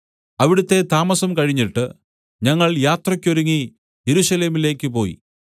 അവിടുത്തെ താമസം കഴിഞ്ഞിട്ട് ഞങ്ങൾ യാത്രയ്ക്ക് ഒരുങ്ങി യെരൂശലേമിലേക്ക് പോയി